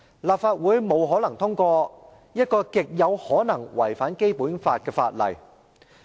立法會不可能通過一項極可能違反《基本法》的法案。